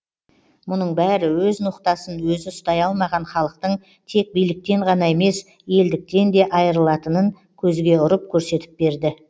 мұның бәрі өз ноқтасын өзі ұстай алмаған халықтың тек биліктен ғана емес елдіктен де айырылатынын көзге ұрып көрсетіп берді